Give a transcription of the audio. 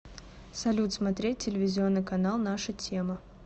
салют смотреть телевизионный канал наша тема